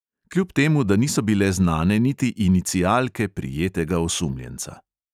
Kljub temu da niso bile znane niti inicialke prijetega osumljenca.